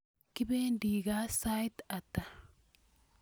Kipendi kaa sait ata?